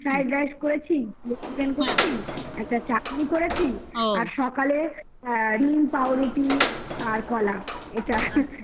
fried rice করেছি chicken করেছি একটা চাটনি করেছি আর সকালে আ ডিম পাউরুটি আর কলা এটা